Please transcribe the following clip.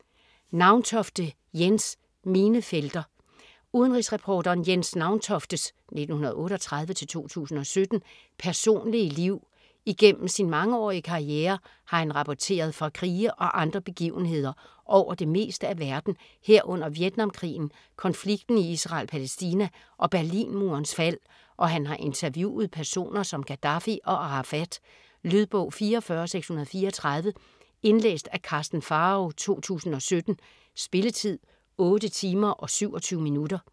Nauntofte, Jens: Minefelter Udenrigsreporteren Jens Nauntoftes (1938-2017) personlige liv. Igennem sin mangeårige karriere har han rapporteret fra krige og andre begivenheder over det meste af verden herunder Vietnamkrigen, konflikten i Israel/Palæstina og Berlinmurens fald, og han har interviewet personer som Gaddafi og Arafat. Lydbog 44634 Indlæst af Karsten Pharao, 2017. Spilletid: 8 timer, 27 minutter.